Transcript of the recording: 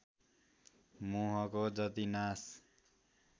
मोहको जति नाश